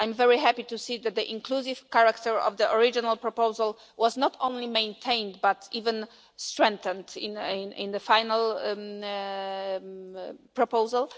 I am very happy to see that the inclusive character of the original proposal was not only maintained but even strengthened in the final proposal.